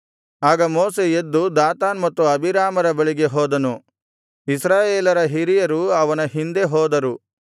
ಆಗ ಮೋಶೆ ಎದ್ದು ದಾತಾನ್ ಮತ್ತು ಅಬೀರಾಮರ ಬಳಿಗೆ ಹೋದನು ಇಸ್ರಾಯೇಲರ ಹಿರಿಯರು ಅವನ ಹಿಂದೆ ಹೋದರು